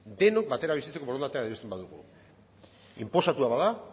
denok batera bizitzeko borondatea adierazten badugu inposatua bada